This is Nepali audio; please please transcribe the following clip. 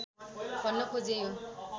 भन्न खोजेँ यो